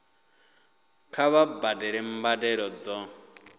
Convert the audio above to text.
kha vha badele mbadelo dzo